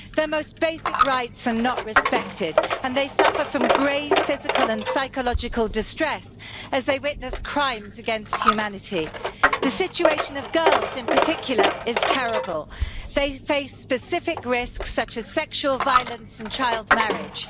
Their most basic rights are not respected and they suffer grave physical and psychological distress, as they have witnessed crimes against humanity. The situation of girls, in particular, is terrible they face specific risks such as sexual violence and child marriage.